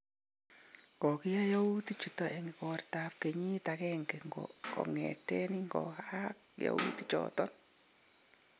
Kokiyai yautik chuton en ikortab kenyit agenge kongeten ingoyaak yautik choton